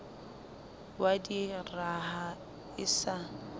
wa di raha e sa